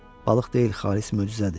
Balıq deyil, xalis möcüzədir.